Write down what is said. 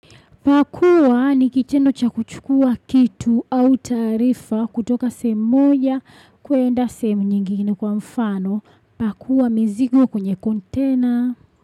Pakua ni kitendo cha kuchukua kitu au taarifa kutoka sehemu moj kuenda sehemu nyingine kwa mfano. Pakua mizigo kwenye kontena.